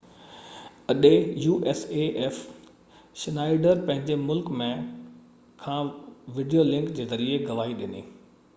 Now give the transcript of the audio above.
Schneider پنهنجي ملڪ ۾ usaf اڏي کان وڊيو لنڪ جي ذريعي گواهي ڏني